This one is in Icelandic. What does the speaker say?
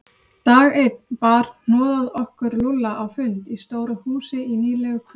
Dag einn bar hnoðað okkur Lúlla á fund í stóru húsi í nýlegu hverfi.